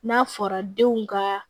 N'a fɔra denw ka